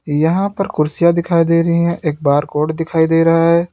यहां पर कुर्सियां दिखाई दे रहे हैं एक बार कोड दिखाई दे रहा है।